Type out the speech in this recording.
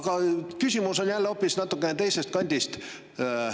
Aga mu küsimus on jälle natukene teisest kandist.